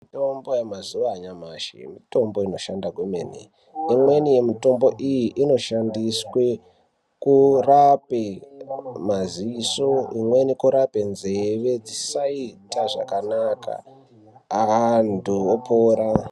Mitombo yemazuva anyamashi mitombo inoshanda kwemene imweni yemutombo iyi inoshandiswa kurapa maziso imweni kurapa nzeve dzisaita zvakanaka antu opora.